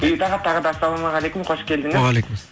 бейбіт аға тағы да ассалаумағалейкум қош келдіңіз уағалейкум